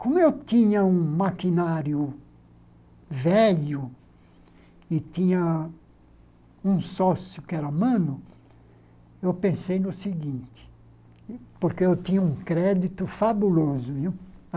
Como eu tinha um maquinário velho e tinha um sócio que era mano, eu pensei no seguinte, porque eu tinha um crédito fabuloso, viu?